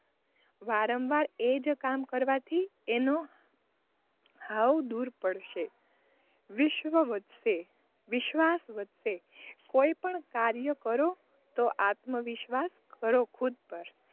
વારંવાર એજ કામ કરવાથી એનો ઘાવ દૂર પડશે વિશ્વ વધશે, વિશ્વાસ વધશે, કોઈ પણ કાર્ય કરો તો આત્મવિશ્વાસ કરો ખુદ પર,